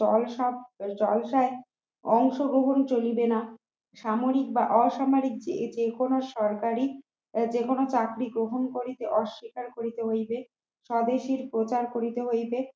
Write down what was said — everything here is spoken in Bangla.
অংশগ্রহণ চলিবে না সামরিক বা অসামরিক যে যে কোন সরকারি যেকোনো চাকরি গ্রহণ করিতে অস্বীকার করিতে হইবে স্বদেশী প্রচার করিতে হইবে